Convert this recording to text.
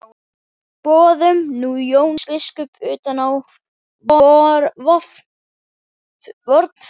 Boðum nú Jón biskup utan á vorn fund.